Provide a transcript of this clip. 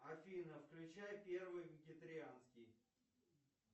афина включай первый вегетарианский